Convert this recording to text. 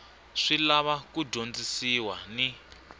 swi lava ku dyondzisiwa ni